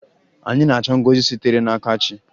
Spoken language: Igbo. Anyị na-achọ ngọzi sitere n'aka chi.